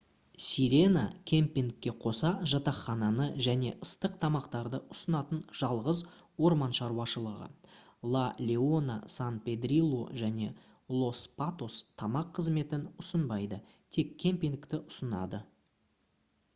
sirena кэмпингке қоса жатақхананы және ыстық тамақтарды ұсынатын жалғыз орман шаруашылығы la leona san pedrillo және los patos тамақ қызметін ұсынбайды тек кэмпингті ұсынады